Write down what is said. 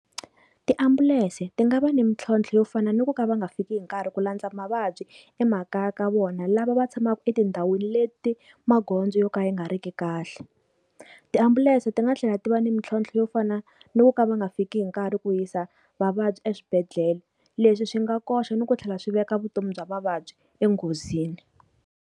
Tiambulense ti nga va ni mintlhontlho yo fana ni ku ka va nga fiki hi nkarhi ku landza mavabyi emakaya ka vona, lava va tshamaka etindhawini leti magondzo yo ka yi nga ri ki kahle. Tiambulense ti nga tlhela ti va ni mintlhontlho yo fana ni ku ka va nga fiki hi nkarhi ku yisa vavabyi eswibedhlele. Leswi swi nga koxa ni ku tlhela swi veka vutomi bya vavabyi enghozini